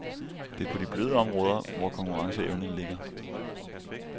Det er på de bløde områder, vor konkurrenceevne ligger.